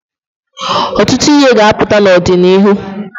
Ọtụtụ ihe ga-aputa n'ọdịnịhu.